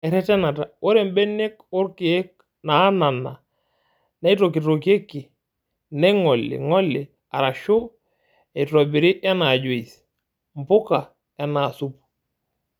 Eretenata:Ore mbenek onkiek naanana neitokitokieki neing'oli ng'oli arashu eitobiri enaa juice, mbuka enaa supuu.